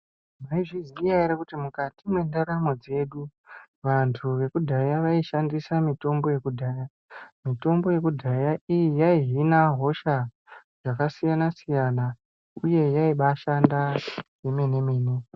Maizviziya ere kuti muksti mwendaramo dzedu vanthu vekudahya vaishandisa mitombo yekudhaya iyi yaihina hosha dzakasiyana siyana iye yaimbashanda kwemenemene.